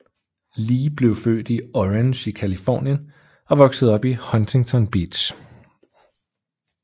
Lee blev født i Orange i Californien og voksede op i Huntington Beach